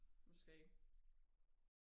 måske